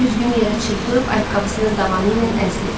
Güzgünü yerə çırpıb ayaqqabısının dabanı ilə əzdi.